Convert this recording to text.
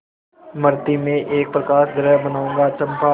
मृति में एक प्रकाशगृह बनाऊंगा चंपा